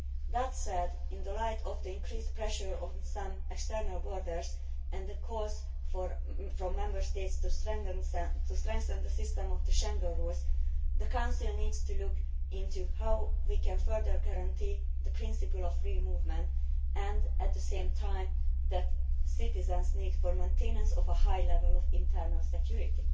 That said, in the light of the increased pressure on some external borders and the calls from Member States to strengthen the system of the Schengen rules, the Council needs to look into how we can further guarantee the principle of free movement and, at the same time, citizens' need for maintenance of a high level of internal security.